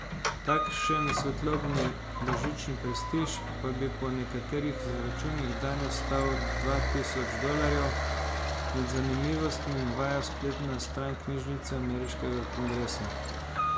Takšen svetlobni božični prestiž pa bi po nekaterih izračunih danes stal dva tisoč dolarjev, med zanimivostmi navaja spletna stran knjižnice ameriškega kongresa.